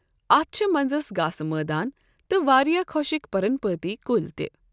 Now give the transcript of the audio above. اَتھ چھِ منٛزَس گاسہٕ مٲدان تہٕ واریٛاہ خۄشٕک پرنپاتی کُلۍ تہِ۔